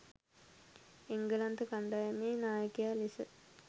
එංගලන්ත කණ්ඩායමේ නායකයා ලෙස